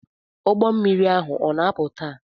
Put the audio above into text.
Ụgbọ mmiri ahu o na-apụ taa?